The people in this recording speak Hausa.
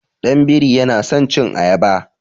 Ɗan biri yana san cin ayaba.